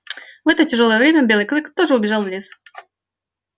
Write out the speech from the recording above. в это тяжёлое время белый клык тоже убежал в лес